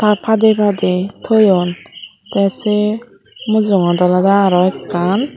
ah padey padey toyon te se mujungod olodey ekkan.